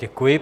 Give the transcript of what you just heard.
Děkuji.